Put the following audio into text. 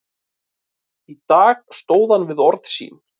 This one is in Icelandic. Í dag stóð hann við orð sín.